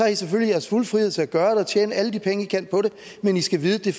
i selvfølgelig jeres fulde frihed til at gøre det og tjene alle de penge i kan på det men i skal vide at det